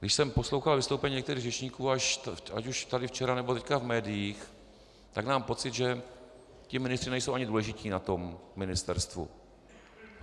Když jsem poslouchal vystoupení některých řečníků ať už tady včera, nebo teď v médiích, tak mám pocit, že ti ministři nejsou ani důležití na tom ministerstvu.